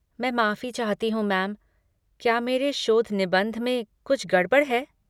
मैं माफ़ी चाहती हूँ मैम, क्या मेरे शोध निबंध में कुछ गड़बड़ है?